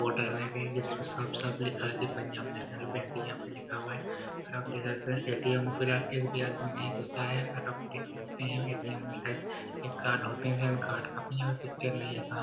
Board लगाए हुए हैं जिस पे साफ-साफ लिखा हुआ है पंजाब नेशनल बैंक यहां पे लिखा गया है और आप देख सकते हैं ए.टी.एम. में फिलहाल एक भी आदमी नहीं घुसा है और आप देख सकते हैं ए.टी.एम. में शायद एक कार्ड होते हैं पिक्चर नहीं है कहां।